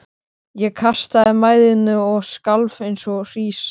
Ég kastaði mæðinni og skalf eins og hrísla.